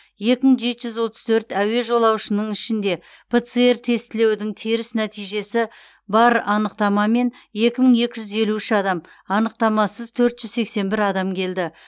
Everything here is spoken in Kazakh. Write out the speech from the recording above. екі мың жеті жүз отыз төрт әуе жолаушының ішінде пцр тестілеудің теріс нәтижесі бар анықтамамен екі мың екі жүз елу үш адам анықтамасыз төрт жүз сексен бір адам келді